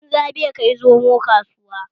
Banza bashi kai zomo kasuwa